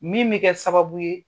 Min bɛ kɛ sababu ye